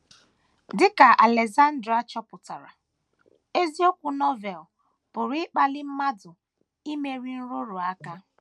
Dị ka Alexander chọpụtara, eziokwu Novel pụrụ ịkpali mmadụ imeri nrụrụ aka.